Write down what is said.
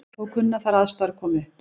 Þó kunna þær aðstæður að koma upp.